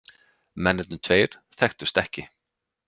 Mennirnir tveir þekktust ekki